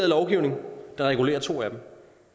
lovgivning der regulerer to af dem